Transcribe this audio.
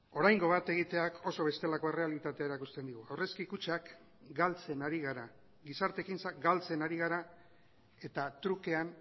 oraingo bat egiteak oso bestelako errealitatea erakusten digu aurrezki kutxak galtzen ari gara gizarte ekintzak galtzen ari gara eta trukean